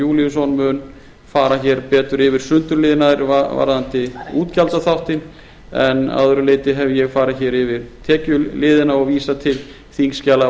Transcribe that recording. júlíusson mun fara betur yfir sundurliðanir varðandi útgjaldaþáttinn en að öðru leyti hef ég farið yfir tekjuliðina og vísa til þingskjala